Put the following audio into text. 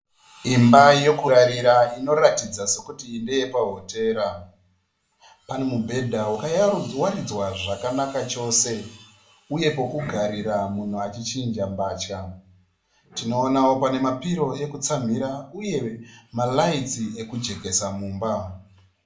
Imba yekurarira inoratidza sekuti ndeye pahotera. Pane mubhedha wakawaridzwa zvakanaka chose uye pekugarira munhu achi chinja mvatya. Tinoona pane pillow yekutsamhira uye maLights ekujekesa mumba.